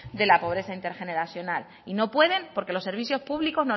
de la pobreza intergeneracional y no pueden porque los servicios públicos